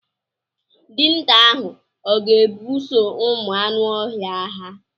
Dinta ahụ ọ ga ebuso ụmụ anụ ọhịa agha?